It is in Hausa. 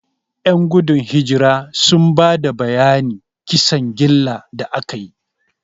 Ƴan gudun hijirar sun ba da bayanan kisan gillar da aka yi.